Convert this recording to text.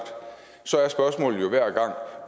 så er spørgsmålet jo hver gang